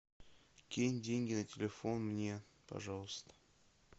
кинь деньги на телефон мне пожалуйста